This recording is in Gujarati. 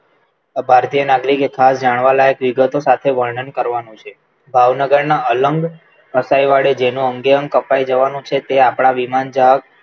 ભારતીય નાગરિકે ખાસ જાણવા લાયક વિગતોનું વર્ણન કરવાનું છે ભાવનગરના અલંગ કસાઈ વાળે છે જેનું અંગે અંગ કપાઈ જવાનું છે તે આપણા વિમાન જહાજ